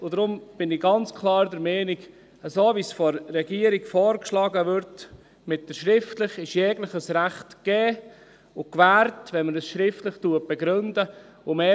Deshalb bin ich ganz klar der Meinung, wenn man dies schriftlich begründet, so wie es die Regierung vorschlägt, sei jedes Recht gegeben und gewährt.